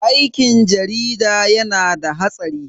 Aikin jarida yana da hatsari.